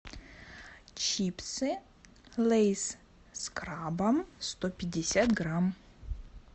чипсы лейс с крабом сто пятьдесят грамм